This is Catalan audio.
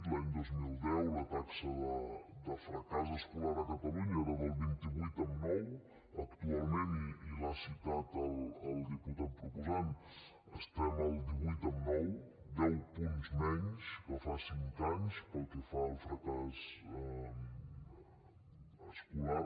l’any dos mil deu la taxa de fracàs escolar a catalunya era del vint vuit amb nou actualment i l’ha citat el diputat proposant estem al divuit amb nou deu punts menys que fa cinc anys pel que fa al fracàs escolar